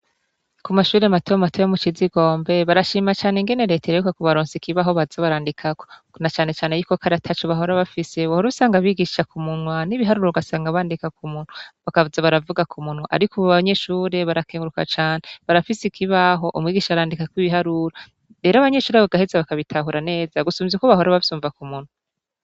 Kumashure mato mato yo mu Cizigombe, barashima cane ingene Reta iheruka kubaronsa ikibaho baza barandikako. Na cane cane ko kare ataco bahora bafise, wahora usanga bigisha k'umunwa, n'ibiharuro ugasanga bandika k'umunwa, bakaza baravuga k'umunwa. Ariko ubu abanyeshure barakenguruka cane, barafise ikibaho, umwigisha arandika ko ibiharuro, rero abanyeshure bakabitahura neza, gusumba aho abanyeshure baraheza bakabitahura neza, gusumvya uko bahora bavyumva ku munwa.